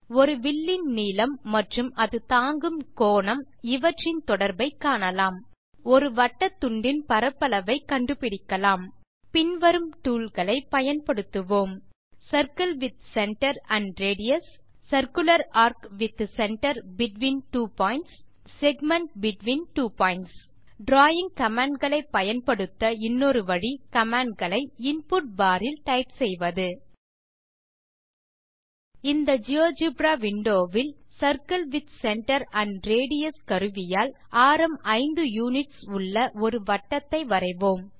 ஒரு வில்லின் நீளம் மற்றும் அது தாங்கும் கோணம் இவற்றின் தொடர்பை காணலாம் மற்றும் ஒரு வட்டத்துண்டின் பரப்பளவை கண்டுபிடிக்கலாம் பின் வரும் டூல் களை ஜியோஜெப்ரா வில் பயன்படுத்துவோம் circle with centre and radius circular ARC with centre between two points மற்றும் segment between two points drawing command களை பயன்படுத்த இன்னொரு வழி கமாண்ட் களை இன்புட் பார் இல் டைப் செய்வது இந்த ஜியோஜெப்ரா விண்டோ வில் இப்போது circle with centre and radius கருவியால் ஆரம் 5 யுனிட்ஸ் உள்ள ஒரு வட்டத்தை வரைவோம்